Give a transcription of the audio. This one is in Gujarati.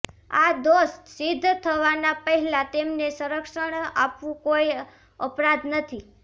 આ દોષ સિદ્ધ થવાના પહેલા તેમને સંરક્ષણ આપવું કોઇ અપરાધ નથી